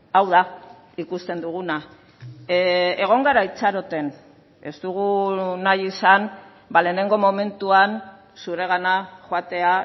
hau da ikusten duguna egon gara itxaroten ez dugu nahi izan lehenengo momentuan zuregana joatea